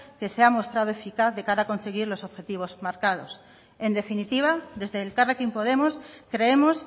que se mostrado eficaz de cara a conseguir los objetivos marcados en definitiva desde elkarrekin podemos creemos